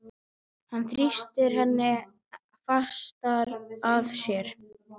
Hann þrýstir henni enn fastar að sér.